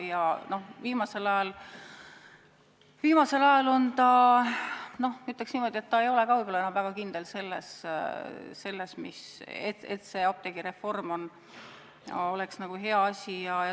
Ma ütleks niimoodi, et viimasel ajal ta ei ole võib-olla enam väga kindel selles, et apteegireform on hea asi.